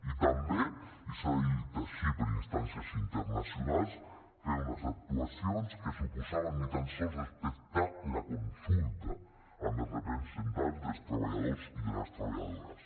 i també i s’ha dit així per instàncies internacionals fer unes actuacions que suposaven ni tan sols respectar la consulta amb els representants dels treballadors i de les treballadores